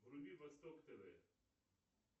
вруби восток тв